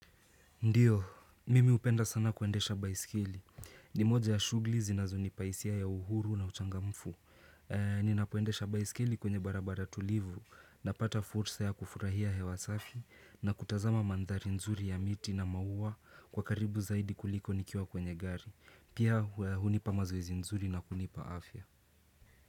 Ndio, mimi upenda sana kuendesha baiskeli. Ni moja ya shughuli zinazo nipa hisia ya uhuru na uchangamfu. Ninapoendesha baiskeli kwenye barabara tulivu, napata fursa ya kufurahia hewas afi na kutazama mandhari nzuri ya miti na maua kwa karibu zaidi kuliko nikiwa kwenye gari. Pia hunipa mazoezi nzuri na kunipa afya.